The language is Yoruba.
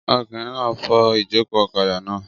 Ọkùnrin náà n fọ ìjòkó ọ̀kadà náà